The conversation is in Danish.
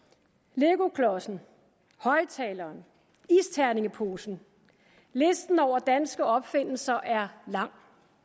legoklodsen højtaleren isterningeposen listen over danske opfindelser er lang